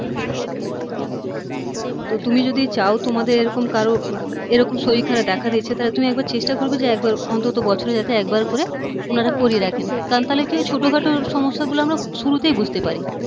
তো তুমি যদি চাও তোমাদের এরকম কারও এরকম শরীর খারাপ দেখা দিচ্ছে তাহলে তুমি একবার চেষ্টা করবে যে একবার অন্তত বছরে যাতে একবার করে উনারা করিয়ে রাখেন কারণ তাহলে কি হয় ছোট খাটো সমস্যা গুলো আমরা শুরুতেই বুঝতে পারি